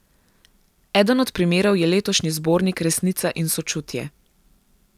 Eden od primerov je letošnji zbornik Resnica in sočutje.